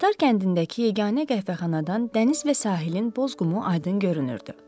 Tatar kəndindəki yeganə qəhvəxanadan dəniz və sahilin boz qumu aydın görünürdü.